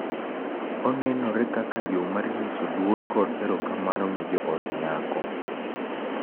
Onenore kaka yo mar nyiso luor kod erokamano ne jood nyako,